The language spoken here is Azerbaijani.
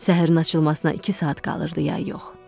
Səhərin açılmasına iki saat qalırdı, ya yox.